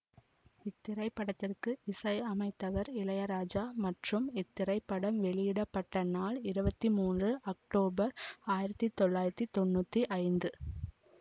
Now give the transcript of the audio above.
இத்திரைப்படத்திற்கு இசையமைத்தவர் இளையராஜா மற்றும் இத்திரைப்படம் வெளியிட பட்ட நாள் இருவத்தி மூன்று அக்டோபர் ஆயிரத்தி தொள்ளாயிரத்தி தொன்னூத்தி ஐந்து